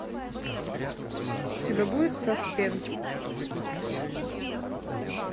у тебя будет саспенс